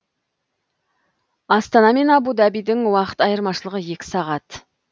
астана мен абу дабидің уақыт айырмашылығы екі сағат